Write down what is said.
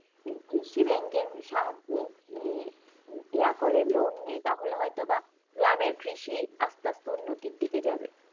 কৃষি ব্যাংক এর সাহায্যে মানে ইয়া করে loan নেই তাহলে হয়তো বা, গ্রামের কৃষি আস্তে আস্তে উন্নতির দিকে যাবে